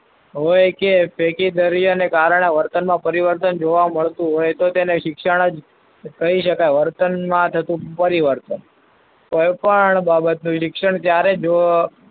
હોય કે ને કારણે પરિવર્તન જોવા મળતું હોય. તો તેને શિક્ષણ જ કહી શકાય. વર્તનમાં થતું પરિવર્તન કોઈપણ બાબત